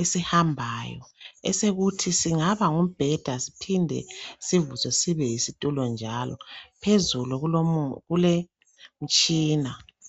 esihambayo esekuthi singaba ngumbhede siphinde sivuswe sibe yisitulo njalo, phezulu kulemtshina.